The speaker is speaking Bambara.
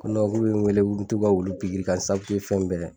Ko k'u be n wele ko n be t'u ka wulu pikiri ka n ka fɛn bɛɛ.